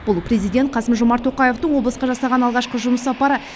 бұл президент қасым жомарт тоқаевтың облысқа жасаған алғашқы жұмыс сапары